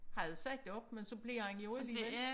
Havde sagt op men så blev han jo alligevel